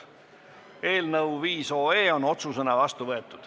Eelnõu 5 on otsusena vastu võetud.